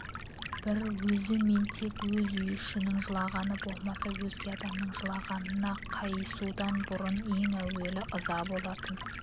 бір өзі мен тек өз үй ішінің жылағаны болмаса өзге адамның жылағанына қайысудан бұрын ең әуелі ыза болатын